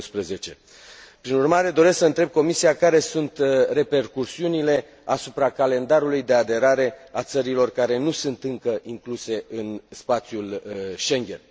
2011. Prin urmare, doresc să întreb Comisia care sunt repercusiunile asupra calendarului de aderare a țărilor care nu sunt încă incluse în spațiul Schengen.